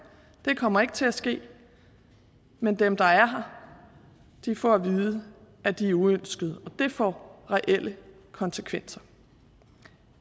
det kommer ikke til at ske men dem der er her får at vide at de er uønskede og det får reelle konsekvenser